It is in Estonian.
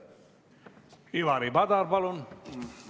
Ivari Padar, palun!